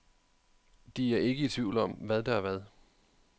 De er ikke i tvivl om, hvad der er hvad.